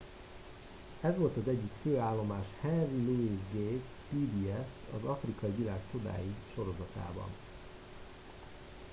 ez volt az egyik fő állomás henry louis gates pbs az afrikai világ csodái sorozatában